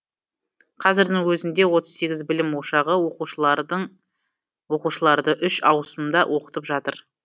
қазірдің өзінде отыз сегіз білім ошағы оқушыларды үш ауысымда оқытып жатыр